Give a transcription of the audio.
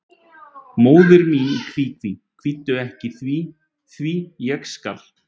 Móðir mín í kví, kví, kvíddu ekki því, því, ég skal.